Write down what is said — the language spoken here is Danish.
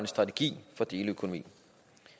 strategi for deleøkonomi